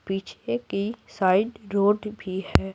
पीछे की side road भी है।